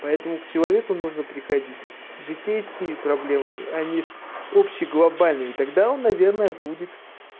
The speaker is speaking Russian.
поэтому к человеку нужно приходить житейскими проблемами они общий а не с общеглобальными тогда он наверное будет